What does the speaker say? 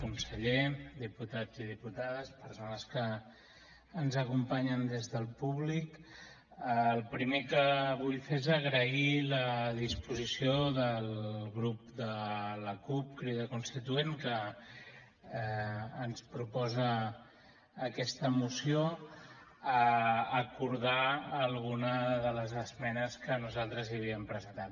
conseller diputats i diputades persones que ens acompanyen des del públic el primer que vull fer és agrair la disposició del grup de la cup crida constituent que ens proposa aquesta moció a acordar alguna de les esmenes que nosaltres hi havíem presentat